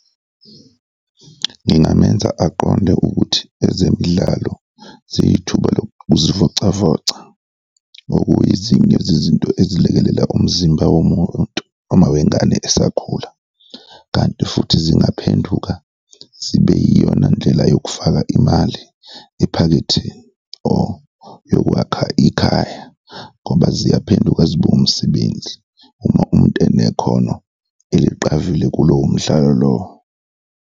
Ngingamenza aqonde ukuthi ezemidlalo ziyithuba lokuzivocavoca, okuyizinye zezinto ezilekelela umzimba womuntu, uma wengane esakhula kanti futhi zingaphenduka zibe iyona ndlela yokufaka imali ephaketheni or yokwakha ikhaya ngoba ziya phenduka zibe umsebenzi uma umuntu enekhono eliqavile kulowo mdlalo lowo.